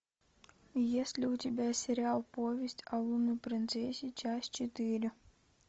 есть ли у тебя сериал повесть о лунной принцессе часть четыре